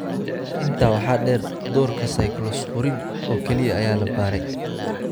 Intaa waxaa dheer, doorka cyclosporine oo keliya ayaa la baaray.